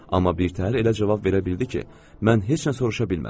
Amma birtəhər elə cavab verə bildi ki, mən heç nə soruşa bilmədim.